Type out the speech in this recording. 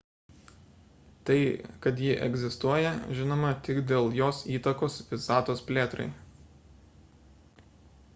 tai kad ji egzistuoja žinoma tik dėl jos įtakos visatos plėtrai